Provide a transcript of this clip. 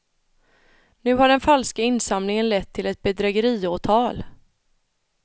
Nu har den falska insamlingen lett till ett bedrägeriåtal.